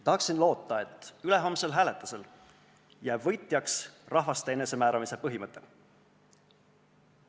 Tahaksin loota, et ülehomsel hääletusel jääb võitjaks rahvaste enesemääramise põhimõte.